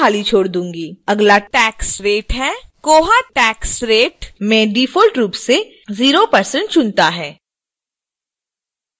अगला tax rate है koha tax rate में डिफ़ॉल्ट रूप से 0% चुनता है